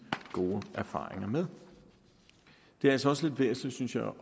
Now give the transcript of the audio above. gode erfaringer med det er altså også lidt væsentligt